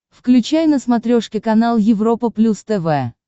включай на смотрешке канал европа плюс тв